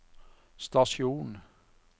stasjon